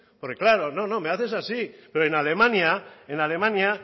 porque claro no no me hace así pero en alemania en alemania